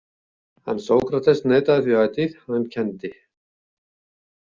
En Sókrates neitaði því ætíð að hann kenndi.